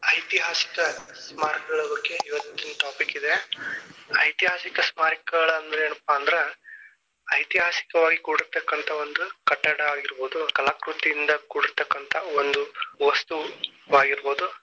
ಐತಿಹಾಸಿಕ ಸ್ಮಾರಕಗಳ ಬಗ್ಗೆ ಇವತ್ತಿನ topic ಇದೆ, ಐತಿಹಾಸಿಕ ಸ್ಮಾರಕಗಳ ಅಂದ್ರೇನಪ್ಪ ಅಂದ್ರ, ಐತಿಹಾಸಿಕವಾಗಿ ಕೂಡಿರತಕ್ಕಂತ ಒಂದು ಕಟ್ಟಡ ಆಗಿರಬಹುದು, ಕಲಾಕೃತಿಯಿಂದ ಕೂಡಿರತಕ್ಕಂತ ಒಂದು ವಸ್ತುವಾಗಿರಬಹುದು.